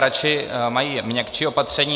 Radši mají měkčí opatření.